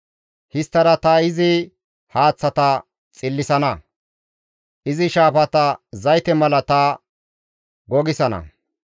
Histtada ta izi haaththata xillisana; izi shaafata zayte mala ta gogisana.